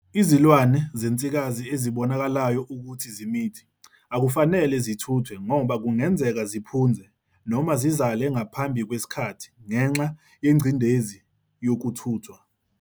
Izilwane zensikazi ezibonakalayo ukuthi zimithi akufanele zithuthwe ngoba kungenzeka ziphunze noma zizale ngaphambi kwesikhathi ngenxa yengcindezi yokuthuthwa.